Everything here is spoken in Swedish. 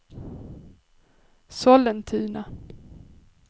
Sollentuna